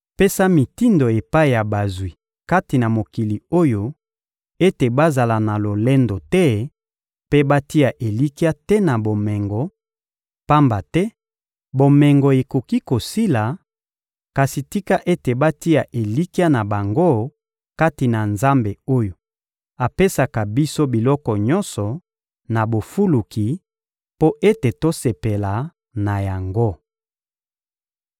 Pesa mitindo epai ya bazwi kati na mokili oyo ete bazala na lolendo te mpe batia elikya te na bomengo, pamba te bomengo ekoki kosila; kasi tika ete batia elikya na bango kati na Nzambe oyo apesaka biso biloko nyonso, na bofuluki, mpo ete tosepela na yango.